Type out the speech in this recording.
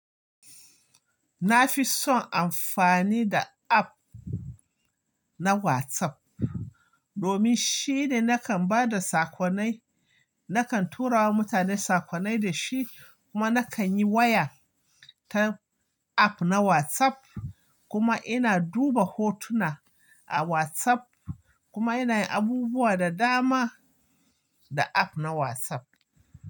Na fi son amfani da app na WhatsApp domin shine nakan ba da sakonai, nakan tura wa mutane sakonai da shi kuma nakan yi waya ta app na WhatsApp kuma ina duba hotuna a WhatsApp kuma yana yin abubuwa da dama da app na WhatsApp.